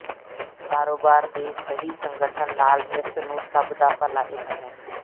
ਕਾਰੋਬਾਰ ਦੇ ਸਹੀ ਸੰਗਠਨ ਨਾਲ ਇਸ ਨੂੰ ਸਭ ਭਲਾ ਇੱਕ ਹੈ